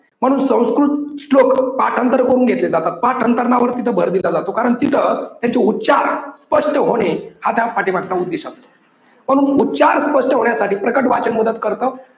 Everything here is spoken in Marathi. म्हणून संस्कृत श्लोक पाठांतर करून घेतले जातात. पाठांतरनावर तिथे भर दिला जातो, कारण तिथं त्याचे उच्चार स्पष्ट होणे हा त्या पाठीमागचा उद्देश असतो. म्हणून उच्चार स्पष्ट होण्यासाठी प्रकट वाचन मदत करत.